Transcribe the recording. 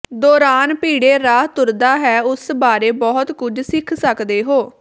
ਦੌਰਾਨ ਭੀੜੇ ਰਾਹ ਤੁਰਦਾ ਹੈ ਉਸ ਬਾਰੇ ਬਹੁਤ ਕੁਝ ਸਿੱਖ ਸਕਦੇ ਹੋ